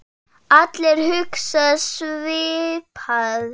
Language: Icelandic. Allir hugsa svipað.